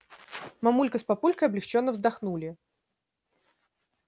мамулька с папулькой облегчённо вздохнули